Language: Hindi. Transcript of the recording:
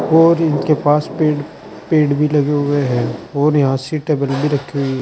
और इनके पास पेड़ पेड़ भी लगे हुए हैं और यहां भी रखी हुई--